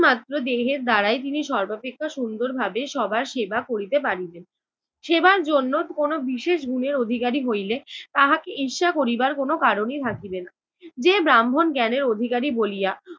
মাত্র দেহের দ্বারাই তিনি সর্বাপেক্ষা সুন্দরভাবে সবার সেবা করিতে পারিবেন। সেবার জন্য কোনো বিশেষ গুণের অধিকারী হইলে তাহাকে ঈর্ষা করিবার কোনো কারণই থাকিবে না। যে ব্রাহ্মণ জ্ঞানের অধিকারী বলিয়া